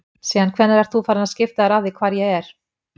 Síðan hvenær ert þú farinn að skipta þér af því hvar ég er?